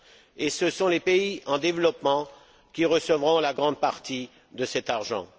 an. Et ce sont les pays en développement qui recevront la grande partie de cet argent.